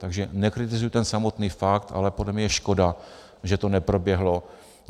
Takže nekritizuji ten samotný fakt, ale podle mě je škoda, že to neproběhlo.